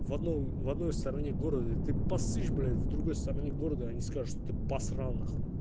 в одно в одной стороне города ты поссышь блять в другой стороне города они скажут что ты посрал нахуй